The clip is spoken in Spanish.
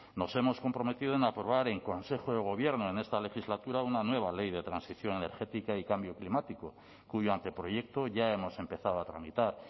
nos hemos comprometido en aprobar en consejo de gobierno en esta legislatura una nueva ley de transición energética y cambio climático cuyo anteproyecto ya hemos empezado a tramitar